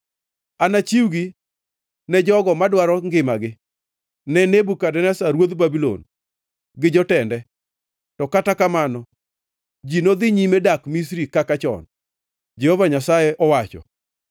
Anachiwgi ne jogo madwaro ngimagi, ne Nebukadneza ruodh Babulon gi jotende. To kata kamano ji nodhi nyime dak Misri kaka chon,” Jehova Nyasaye owacho.